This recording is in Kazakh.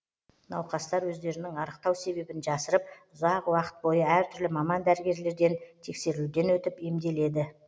науқастар өздерінің арықтау себебін жасырып ұзақ уақыт бойы әртүрлі маман дәрігерлерден тексерілуден өтіп емделеді